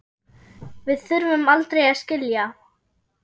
Við þurfum aldrei að skilja.